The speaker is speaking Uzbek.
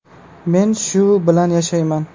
Men shu bilan yashayman.